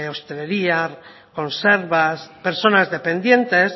hostelería conservas personas dependientes